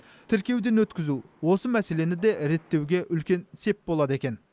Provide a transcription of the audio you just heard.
тіркеуден өткізу осы мәселені де реттеуге үлкен сеп болады екен